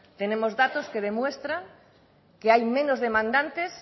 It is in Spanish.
tenemos datos que demuestran que hay menos demandantes